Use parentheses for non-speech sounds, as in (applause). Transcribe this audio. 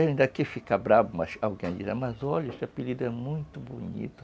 Ele ainda quis ficar bravo, mas alguém, (unintelligible) mas olha, esse apelido é muito bonito.